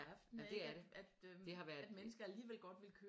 Det er det det har været